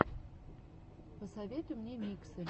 посоветуй мне миксы